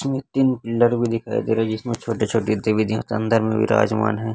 इसमें तीन भी दिखाई दे रहा है जिसमें छोटे छोटे देवी देवता अंदर में विराजमान है।